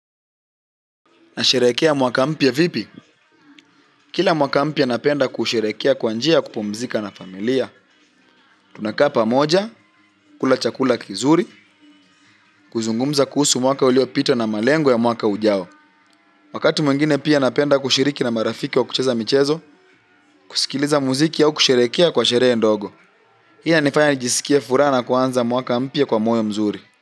Nasherehekea mwaka mpya vipi? Kila mwaka mpya napenda kusherehekea kwa njia kupumzika na familia. Tunakaa pamoja, kula chakula kizuri, kuzungumza kuhusu mwaka uliopita na malengo ya mwaka ujao. Wakati mwingine pia napenda kushiriki na marafiki wa kucheza michezo, kusikiliza muziki au kusherehekea kwa sherehe ndogo. Hii inanifanya nijisikie furaha kuanza mwaka mpya kwa moyo mzuri.